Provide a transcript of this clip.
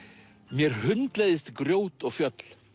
mér hundleiðist grjót og fjöll